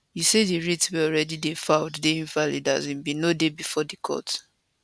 e say di writ wey already dey filed dey invalid as e bin no dey bifor di court